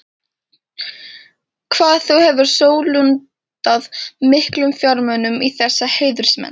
Hvað þú hefur sólundað miklum fjármunum í þessa heiðursmenn.